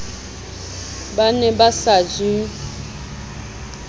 ba ne ba sa je